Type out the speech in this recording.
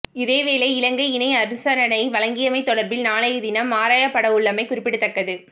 இதேவேளை இலங்கை இணை அனுசரணை வழங்கியமை தொடர்பில் நாளையதினம் ஆராயப்படவுள்ளமை குறிப்பிடத்தக்கது